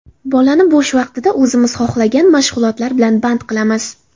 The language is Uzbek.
Bolani bo‘sh vaqtida o‘zimiz xohlagan mashg‘ulotlar bilan band qilamiz.